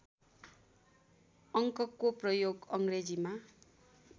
अङ्कको प्रयोग अङ्ग्रेजी